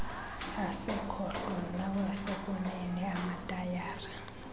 asekhohlo nawasekunene amatayara